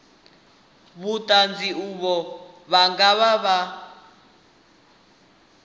vhuṱanzi uvho vhu nga vha